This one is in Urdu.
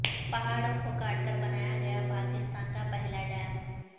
پہاڑوں کو کاٹ کر بنایا گیا پاکستان کا پہلا ڈیم